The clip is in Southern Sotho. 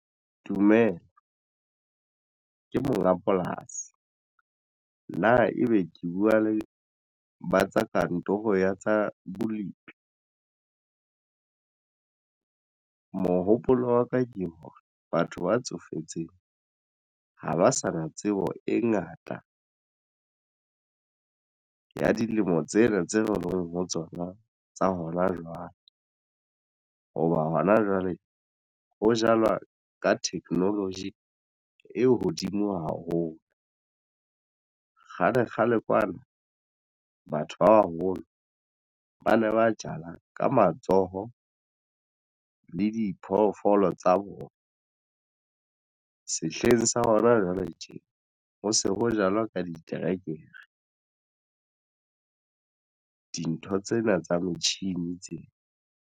Dumela ke monga polasi na ebe ke buwa le batsa kantoro ya tsa bolipi? Mohopolo wa ka ke hore batho ba tsofetseng ha ba sa na tsebo e ngata ya dilemo tsena tse leng ho tsona tsa hona jwale. Hoba hona jwale ho jalwa ka technology e hodimo haholo kgale kgale kwana batho ba baholo ba ne ba jala ka matsoho le diphoofolo tsa bona sehleng sa hona jwale tje ho se ho jalwa ka diterekere. Dintho tsena tsa metjhini tsena.